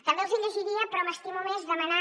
també els llegiria però m’estimo més demanar